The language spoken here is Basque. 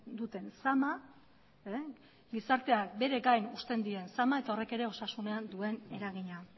duten zama gizartea beregain uzten dien zama eta horrek ere osasunean duen eragina